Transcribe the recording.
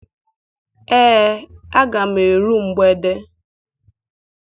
Ee, aga m eru mgbede.